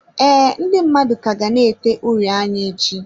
Ee, ndị mmadụ ka ga na-ete uri anya echi.